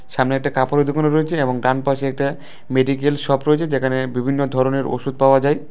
সামনে একটা কাপড়ের দোকানও রয়েছে এবং ডানপাশে একটা মেডিক্যাল শপ রয়েছে যেখানে বিভিন্ন ধরনের ওষুধ পাওয়া যায়।